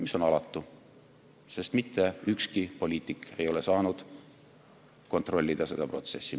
See on alatu, sest mitte ükski poliitik ei ole saanud kontrollida seda protsessi.